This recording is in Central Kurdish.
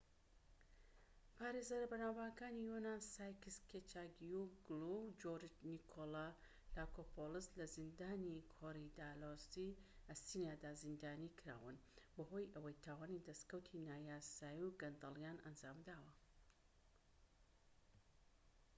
پارێزەرە بەناوبانگەکانی یۆنان ساکیس کێچاگیوگلو و جۆرج نیکۆلاکۆپۆلۆس لە زیندانی کۆریدالۆسی ئەسینادا زیندانی کراون بەهۆی ئەوەی تاوانی دەسکەوتی نایاسایی و گەندەڵیان ئەنجامداوە